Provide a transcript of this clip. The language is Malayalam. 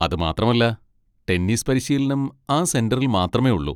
അത് മാത്രമല്ല, ടെന്നീസ് പരിശീലനം ആ സെന്ററിൽ മാത്രമേ ഉള്ളൂ.